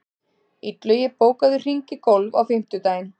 Illugi, bókaðu hring í golf á fimmtudaginn.